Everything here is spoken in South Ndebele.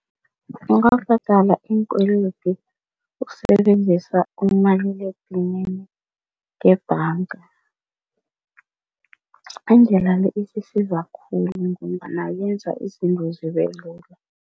Ungabhadala iinkwelede ukusebenzisa umaliledinini ngebhanga. Indlela le isisiza khulu ngombana yenza izinto zibelula.